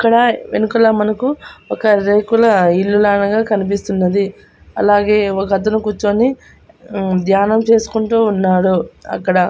అక్కడ వెనుకల మనకు ఒక రేకుల ఇల్లు లానగనే కనిపిస్తున్నది అలాగే ఒకతను కుచ్చొని ఉమ్ ధ్యానం చేసుకుంటూ ఉన్నాడు అక్కడ.